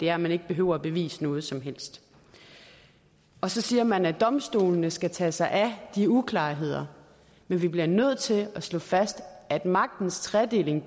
er at man ikke behøver at bevise noget som helst så siger man at domstolene skal tage sig af de uklarheder men vi bliver nødt til at slå fast at magtens tredeling